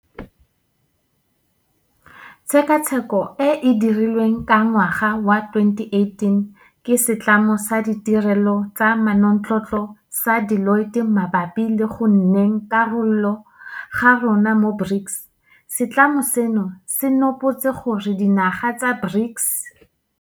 Tshekatsheko e e dirilweng ka ngwaga wa 2018 ke setlamo sa ditirelo tsa manontlhotlho sa Deloitte mabapi le go nneng karolo ga rona mo BRICS, setlamo seno se nopotse gore dinaga tsa BRICS.